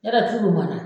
Yala tulu mara